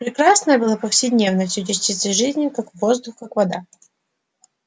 прекрасное было повседневностью частицей жизни как воздух как вода